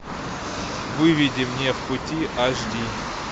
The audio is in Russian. выведи мне пути аш ди